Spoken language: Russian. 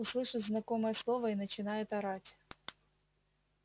услышит знакомое слово и начинает орать